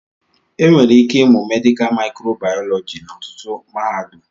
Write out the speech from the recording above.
Enwere ike ịmụ mèdịká mịkròbàyọlọjí n'ọtụtụ mahadum